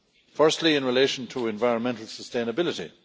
Firstly, in relation to environmental sustainability.